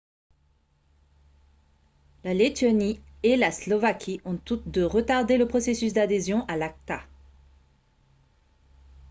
la lettonie et la slovaquie ont toutes deux retardé le processus d'adhésion à l'acta